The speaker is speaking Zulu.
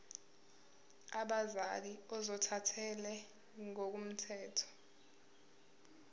abazali ozothathele ngokomthetho